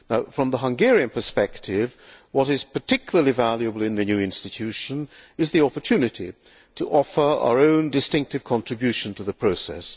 From the Hungarian perspective, what is particularly valuable in the new institution is the opportunity to offer our own distinctive contribution to the process.